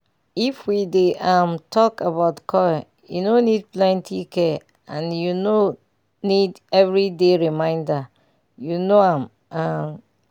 if we dey um talk about coil e no need plenty care and u no need every day reminder - u know am um ah